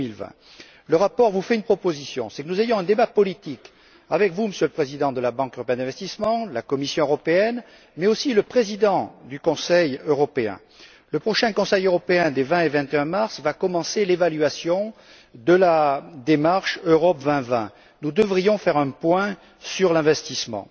2020. Le rapport vous fait une proposition c'est que nous ayons un débat politique avec vous, Monsieur le Président de la Banque européenne d'investissement, la Commission européenne, mais aussi le président du Conseil européen. Au cours du prochain Conseil européen des 20 et 21mars va commencer l'évaluation de la stratégie Europe2020. Nous devrions faire un point sur l'investissement.